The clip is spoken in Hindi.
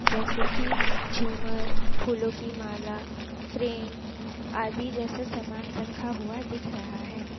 जैसे की झूमर फूलों की माला फ्रेम आदि जैसा समान रखा हुआ दिख रहा है।